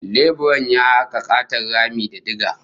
Leburan ya haka katon rami da diga